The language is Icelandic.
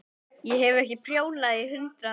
Ég hef ekki prjónað í hundrað ár.